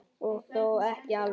Og þó ekki alveg.